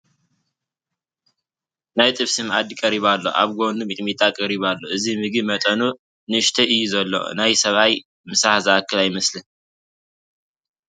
ናይ ጥብሲ መኣዲ ቀሪቡ ኣሎ፡፡ ኣብ ጐኑ ሚጥሚጣ ቀሪቡ ኣሎ፡፡ እዚ ምግቢ መጠኑ ንኡሽተይ እዩ ዘሎ፡፡ ናይ ሰብኣይ ምሳሕ ዝኣክል ኣይመስልን፡፡